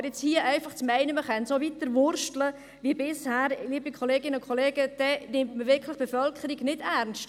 Aber nun hier zu meinen, man könne so weiterwursteln wie bisher, liebe Kolleginnen und Kollegen, damit nimmt man die Bevölkerung wirklich nicht ernst.